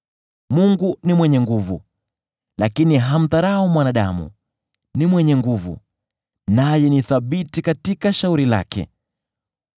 “Mungu ni mwenye nguvu, lakini hamdharau mwanadamu; ni mwenye nguvu, naye ni thabiti katika shauri lake.